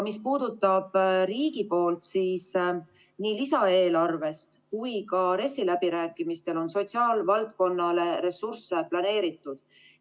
Mis puudutab aga riigi poolt, siis nii lisaeelarve kui ka RES-i läbirääkimiste raames on sotsiaalvaldkonnale ressursse planeeritud.